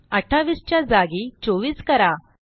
28 च्या जागी 24 करा